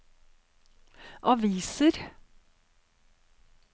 aviser